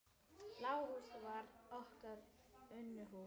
Bláa húsið var okkar Unuhús.